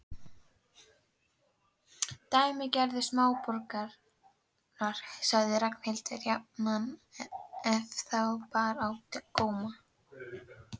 Dæmigerðir smáborgarar sagði Ragnhildur jafnan ef þá bar á góma.